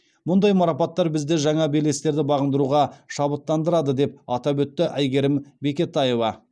мұндай марапаттар бізді жаңа белестерді бағындыруға шабыттандырады деп атап өтті әйгерім бекетаева